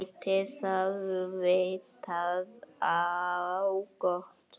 Gæti það vitað á gott?